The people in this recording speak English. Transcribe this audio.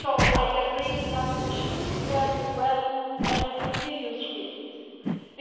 I agree that we should prepare it well and be serious about it.